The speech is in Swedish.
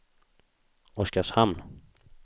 Oskarshamn